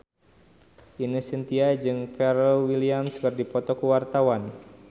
Ine Shintya jeung Pharrell Williams keur dipoto ku wartawan